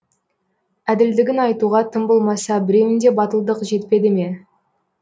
әділдігін айтуға тым болмаса біреуіңде батылдық жетпеді ме